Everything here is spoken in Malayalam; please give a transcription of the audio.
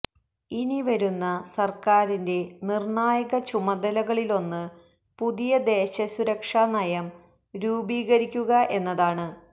ഇനി വരുന്ന സർക്കാരിന്റെ നിർണായക ചുമതലകളിലൊന്ന് പുതിയ ദേശ സുരക്ഷാ നയം രൂപീകരിക്കുക എന്നതാണ്